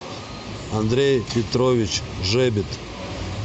андрей петрович жебит